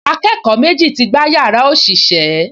Akẹ́kọ̀ọ́ méjì ti gbá yàrá òṣìṣẹ́